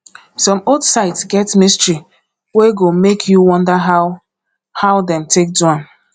some old sites get mystery wey go make you wonder how how dem take do am